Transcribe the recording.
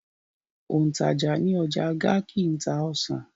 Òǹtajà ní ọjà Garki ń ta ọsàn.